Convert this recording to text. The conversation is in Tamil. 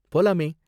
போலாமே.